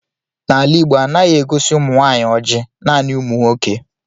N'ala Igbo, anaghi egosi umunwanyi oji, naani umu nwoke.